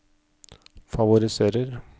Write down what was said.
favoriserer